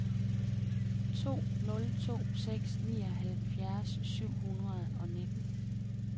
to nul to seks nioghalvfjerds syv hundrede og nitten